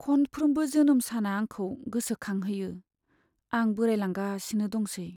खनफ्रोमबो जोनोम साना आंखौ गोसोखांहोयो आं बोराइलांगासिनो दंसै!